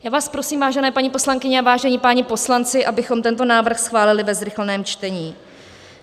Já vás prosím, vážené paní poslankyně a vážení páni poslanci, abychom tento návrh schválili ve zrychleném čtení.